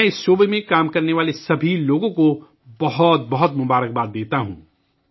میں اس شعبے میں کام کرنے والے تمام لوگوں کے لئے نیک خواہشات کا اظہار کرتا ہوں